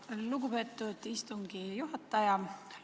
Aitäh, lugupeetud istungi juhataja!